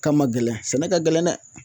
K'a man gɛlɛn sɛnɛ ka gɛlɛn dɛ